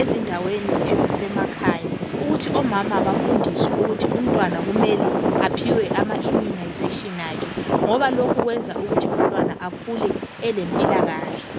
ezindaweni ezisemakhaya ukuthi omama bafundiswe ukuthi umntwana kumele aphiwe ama "immunization" akhe ngoba lokhu kwenza ukuthi umntwana akhule elempilakahle.